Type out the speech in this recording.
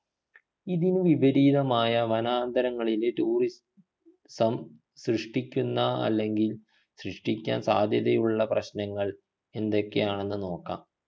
ഇതിനു വിപരീതമായ വനാന്തരങ്ങളിലെ tourism സൃഷ്ടിക്കുന്ന അല്ലെങ്കിൽ സൃഷ്ടിക്കാൻ സാധ്യതയുള്ള പ്രശ്നങ്ങൾ എന്തൊക്കെയാണെന്നു നോക്കാം